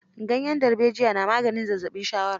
Ganyen darbejiya na maganin zazzaɓin shawara.